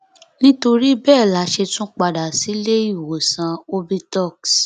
nítorí bẹẹ la ṣe tún padà sílé ìwòsàn obitoks